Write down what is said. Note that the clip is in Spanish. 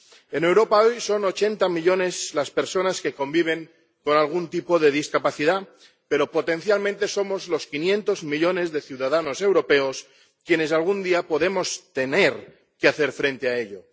En Europa hoy son 80 millones las personas que conviven con algún tipo de discapacidad, pero potencialmente somos los 500 millones de ciudadanos europeos quienes algún día podemos tener que hacer frente a ello.